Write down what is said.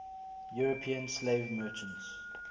european slave merchants